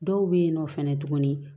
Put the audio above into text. Dɔw bɛ yen nɔ fɛnɛ tuguni